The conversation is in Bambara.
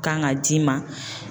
Kan ka d'i ma